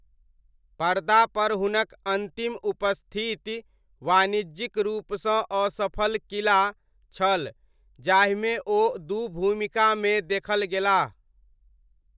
पर्दापर हुनक अन्तिम उपस्थिति वाणिज्यिक रूपसँ असफल 'किला' छल जाहिमे ओ दू भूमिकामे देखल गेलाह।